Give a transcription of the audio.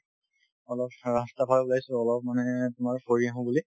অলপ ৰাস্তাৰফালে ওলাইছো অলপ মানে তোমাৰ ফুৰি আহো বুলি